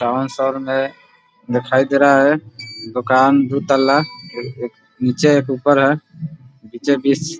town शहर में दिखाई दे रहा है दुकान दुतल्ला एक नीचे एक ऊपर है बीचे बिच --